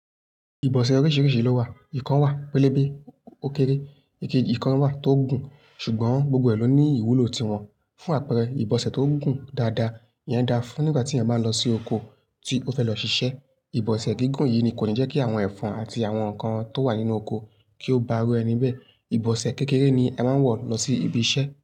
Ìbọ̀sẹ̀ oríṣìíríṣìí ló wà. Ìkan wà pélébé ó kéré, èké ìkan wà tó gùn. Ṣùgbọ́n gbogbo ẹ̀ ló ní ìwúlò tiwọn. Fún àpẹẹrẹ ìbọ̀sẹ̀ tó gùn dáadáa yẹn da fún nígbà tí ẹ máa lọ sí oko tí o fẹ́ lọ ṣiṣẹ́. Ìbọ̀sẹ̀ gígùn yìí ni kò ní jẹ́ kí àwọn ẹ̀fọn àti àwọn nǹkan tó wà nínú oko kí ó bá ru ẹni bẹ̀e. Ìbọ̀sẹ̀ kékeré ni ẹ máa ń wọ̀ lọ sí ibi iṣẹ́